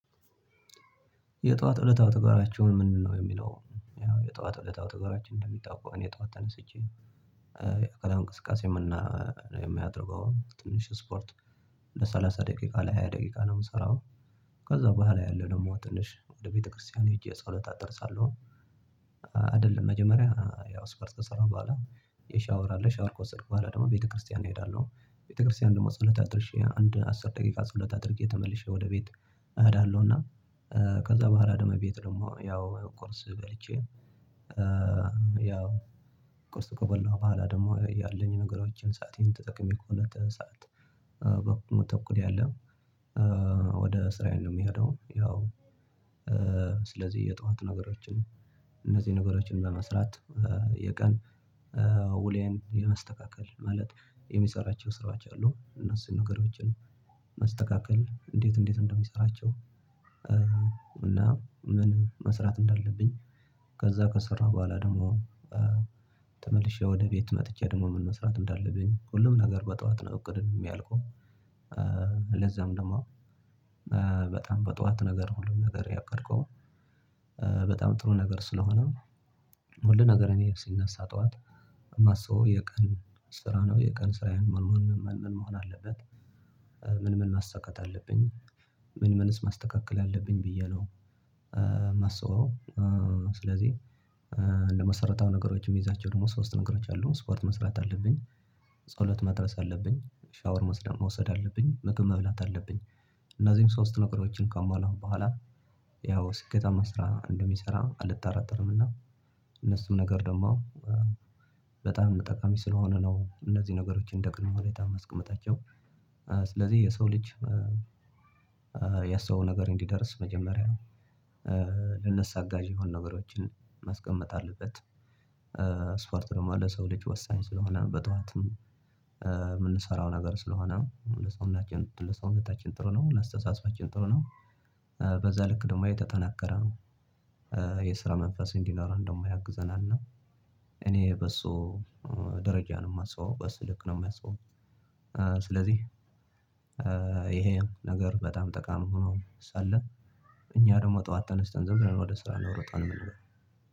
የጧት እለታዊ ተግባራቸውን ምንድን ነው የሚለው? ያው የጧት እለታዊ ተግባራችን እንደሚታወቀው እኔ ጧት ተነስቼ የአካላዊ እንቅስቃሴ የምና የምናደርገው ትንሽ ስፖርት ለሳል ለሠላሳ ደቂቃ ለሃያ ደቂቃ ነው የምሰራው። ከዛ በኋላ ያለው ደግሞ ትንሽ ወደ ቤተክርስቲያን ሄጄ ጸሎት አደርሳለሁ። አደለም መጀመሪያ ያው ስፖርት ከሰራሁ በኋላ የሻወር አለ ሻወር ከወሰድኩ በኋላ ደግሞ ቤተክርስቲያን እሄዳለሁ። ቤተክርስቲያን ደግሞ ጸሎት አድርሼ አንድ አስር ደቂቃ ጸሎት አድርጌ ተመልሼ ወደ ቤት እኸዳለሁ። እና ከዛ በኋላ ደግሞ ቤት ደግሞ ያው ቁርስ በልቼ። ያው ቁርስ ከበላው በኋላ ደግሞ ያለኝ ነገሮችን ሰአቴን ተጠቅሜ ከሁለት ሰዓት በኩል ተኩል ያለ ወደ ስራዬ ነው የምሄደው። ያው ስለዚህ የጧት ነገሮችን እነዚህን ነገሮችን በመስራት የቀን ውሎየን የማስተካከል ማለት የምሰራቸው ስራቸው አሉ እነሱን ነገሮችን መስተካከል እንዴት እንዴት እንደምሰራቸው። እና ምን መስራት እንዳለብኝ ከዛ ከሰራሁ በኋላ ደሞ ተመልሼ ወደ ቤት መጥቼ ደግሞ ምን መስራት እንዳለብኝ ሁሉም ነገር በጧት ነው እቅድም እሚያልቀው። ለዛም ደሞ በጣም በጧት ነገር ሁሉም ነገር ያቀድከው በጣም ጥሩ ነገር ስለሆነ ሁሉ ነገር እኔ ስነሳ ጠዋት የማስበው የቀን ስራ ነው የቀን ስራዬን መሆን ምን መሆን አለበት። ምን ምን ማሳካት አለብኝ ምን ምንስ ማስተካከል አለብኝ ብዬ ነው ማስበው። ስለዚህ ለመሰረታዊ ነገሮች ሚይዛቸው ደሞ ሶስት ነገሮች አሉ ስፖርት መስራት አለብኝ። ጸሎት መድረስ አለብኝ ሻወር መውሰድ አለብኝ መግብ መብላት አለብኝ። እነዚህም ሶስት ነገሮችን ካማላው በኋላ ያው ስኬታማ ስራ እንደሚሰራ አልጠራጠርም። እና እነሱም ነገር ደሞ በጣም ጠቃሚ ስለሆነ ነው እነዚህ ነገሮችን እንደቅድመ ሁኔታ ማስቀመጣቸው። ስለዚህ የሰው ልጅ ያሰበው ነገር እንዲደርስ መጀመሪያ ለነሱ አጋዥ የሆኑ ነገሮችን ማስቀመጥ አለበት። ስፖርት ደግሞ ለሰው ልጅ ወሳኝ ስለሆነ በጠዋትም ምንሰራው ነገር ስለሆነ ለሰውናችን ለሰውነታችን ጥሩ ነው ለአስተሳሰባችን ጥሩ ነው። በዛ ልክ ደግሞ የተጠናከረ የስራ መንፈስ እንዲኖረን ደሞ ያግዘናል። እኔ በሱ ደረጃ ነው ማስበው በስልክ ነው ማስበው። ስለዚህ ይሄ ነገር በጣም ጠቃሚ ሆኖ ሳለ እኛ ደግሞ ጠዋት ተነስተን ዝም ብለን ወደ ስራ ነው ሮጠን የምንለው።